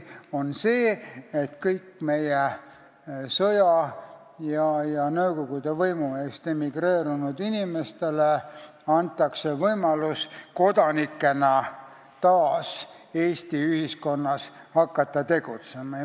See on see, et kõigile meie inimestele, kes on emigreerunud sõja ja Nõukogude võimu eest, antakse võimalus hakata kodanikena taas Eesti ühiskonnas tegutsema.